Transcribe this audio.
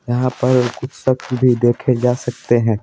यहाँ पर कुछ सख्त भी देखे जा सकते हैं।